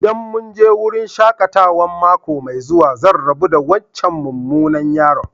ldan mun je wurin shakatawan mako mai zuwa, zan rabu da wancan mumunan yaro.